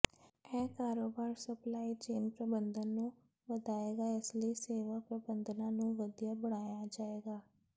ਇਹ ਕਾਰੋਬਾਰੀ supply chain ਪ੍ਰਬੰਧਨ ਨੂੰ ਵਧਾਏਗਾ ਇਸ ਲਈ ਸੇਵਾ ਪ੍ਰਬੰਧਾਂ ਨੂੰ ਵਧੀਆ ਬਣਾਇਆ ਜਾਏਗਾ